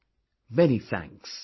Many Many thanks